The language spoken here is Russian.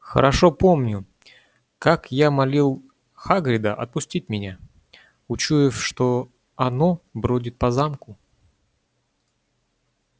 хорошо помню как я молил хагрида отпустить меня учуяв что оно бродит по замку